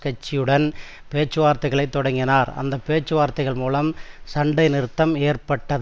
கட்சியுடன் பேச்சுவார்த்தைகளை தொடக்கினார் அந்த பேச்சுவார்த்தைகள் மூலம் சண்டை நிறுத்தம் ஏற்பட்டது